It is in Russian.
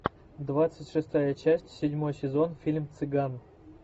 двадцать шестая часть седьмой сезон фильм цыган